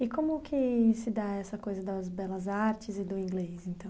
E como que se dá essa coisa das belas artes e do inglês, então?